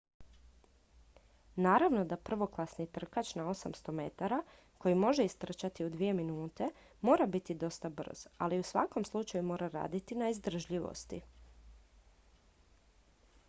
naravno da prvoklasni trkač na 800 m koji može istrčati u dvije minute mora biti dosta brz ali u svakom slučaju mora raditi na izdržljivosti